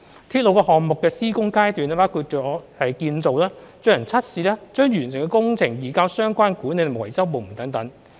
鐵路項目的施工階段包括建造、進行測試、將完成的工程移交相關管理及維修部門等。